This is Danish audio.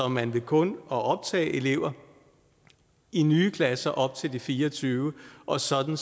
man kun optager elever i nye klasser op til de fire og tyve og sådan